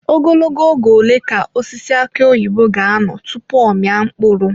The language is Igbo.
Ogologo oge ole ka osisi aki oyibo ga-anọ tupu ọ amịa mkpụrụ?